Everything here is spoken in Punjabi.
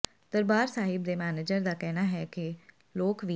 ਦਰਬਾਰ ਸਾਹਿਬ ਦੇ ਮੈਨੇਜਰ ਦਾ ਕਹਿਣਾ ਹੈ ਕਿ ਲੋਕ ਵੀ